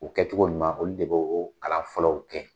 O kɛcogo ɲuman olu de be o kalan fɔlɔw kɛ.